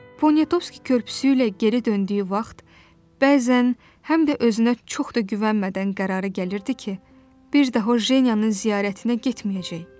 Ponetovski körpüsü ilə geri döndüyü vaxt bəzən, həm də özünə çox da güvənmədən qərara gəlirdi ki, bir daha O Jenyanın ziyarətinə getməyəcək.